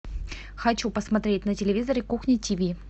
хочу посмотреть на телевизоре кухня тиви